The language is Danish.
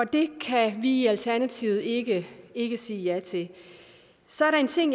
det kan vi i alternativet ikke ikke sige ja til så er der en ting